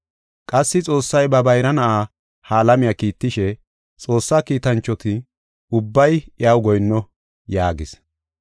Qassi Xoossay ba bayra Na7aa ha alamiya kiittishe, “Xoossaa kiitanchoti ubbay iyaw goyinno” yaagis.